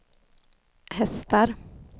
hästar